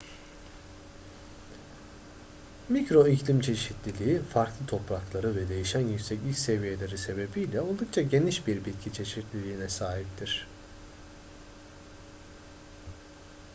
mikro iklim çeşitliliği farklı toprakları ve değişen yükseklik seviyeleri sebebiyle oldukça geniş bir bitki çeşitliliğine sahiptir